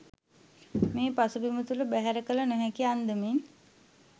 මේ පසුබිම තුළ බැහැර කළ නොහැකි අන්දමින්